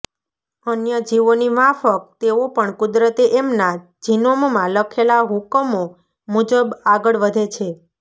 અન્ય જીવોની માફક તેઓ પણ કુદરતે એમના જિનોમમાં લખેલા હુકમો મુજબ આગળ વધે છે